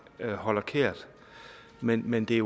har kær men men det